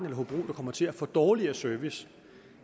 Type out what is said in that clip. hobro der kommer til at få dårligere service